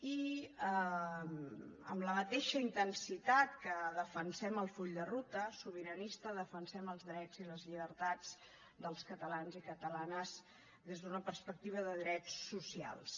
i amb la mateixa intensitat que defensem el full de ruta sobiranista defensem els drets i les llibertats dels catalans i catalanes des d’una perspectiva de drets socials